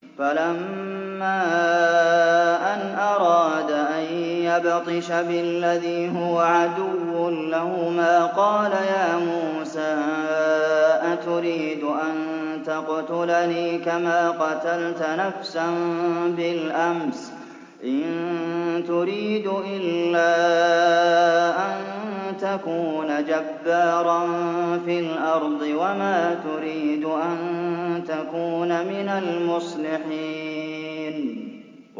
فَلَمَّا أَنْ أَرَادَ أَن يَبْطِشَ بِالَّذِي هُوَ عَدُوٌّ لَّهُمَا قَالَ يَا مُوسَىٰ أَتُرِيدُ أَن تَقْتُلَنِي كَمَا قَتَلْتَ نَفْسًا بِالْأَمْسِ ۖ إِن تُرِيدُ إِلَّا أَن تَكُونَ جَبَّارًا فِي الْأَرْضِ وَمَا تُرِيدُ أَن تَكُونَ مِنَ الْمُصْلِحِينَ